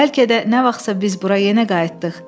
Bəlkə də nə vaxtsa biz bura yenə qayıtdıq.